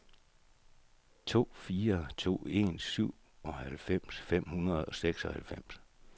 to fire to en syvoghalvfems fem hundrede og seksoghalvfems